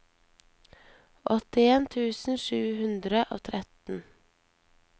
åttien tusen sju hundre og tretten